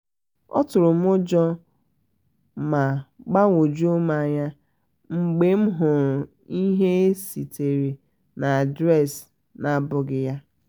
ọ tụrụ m ụjọ ma gbagwojum anya mgbe m hụrụ ihe e zitere na adreesị na-abụghị ya